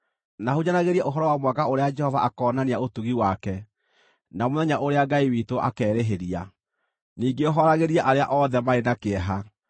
na hunjanagĩrie ũhoro wa mwaka ũrĩa Jehova akoonania ũtugi wake, na mũthenya ũrĩa Ngai witũ akerĩhĩria, ningĩ hooragĩrie arĩa othe marĩ na kĩeha,